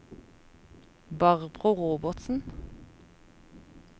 Barbro Robertsen